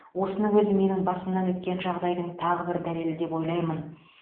осының өзі менің басымнан өткен жағдайдың тағы бір дәлелі деп ойлаймын